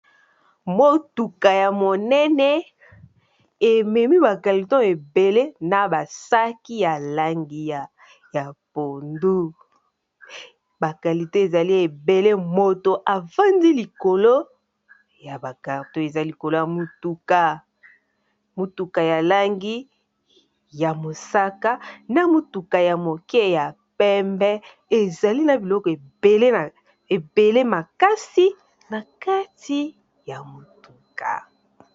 Motuka ya monene ememi bakaliton ebele na basaki ya langi ya pondu, bakalite ezali ebele moto afandi likolo ya bakalto eza likolo ya motuka ya langi ya mosaka na motuka ya moke ya pembe ezali na biloko ebele makasi na kati ya motuka.